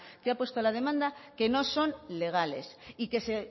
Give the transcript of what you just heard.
que ha puesto la demanda que no son legales y que se